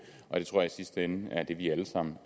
og det tror jeg i sidste ende er det vi alle sammen